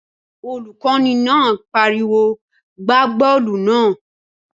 Olùkọ́ni náà pariwo "gbá bọ́ọ̀lù náà!"